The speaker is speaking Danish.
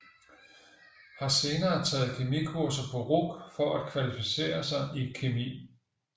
Har senere taget kemikurser på RUC for at kvalificere sig i kemi